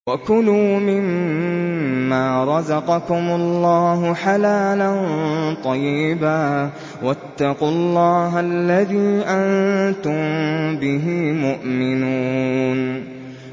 وَكُلُوا مِمَّا رَزَقَكُمُ اللَّهُ حَلَالًا طَيِّبًا ۚ وَاتَّقُوا اللَّهَ الَّذِي أَنتُم بِهِ مُؤْمِنُونَ